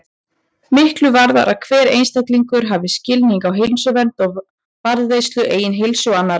Miklu varðar að hver einstaklingur hafi skilning á heilsuvernd og varðveislu eigin heilsu og annarra.